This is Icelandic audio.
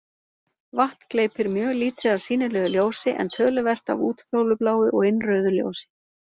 Vatn gleypir mjög lítið af sýnilegu ljósi en töluvert af útfjólubláu og innrauðu ljósi.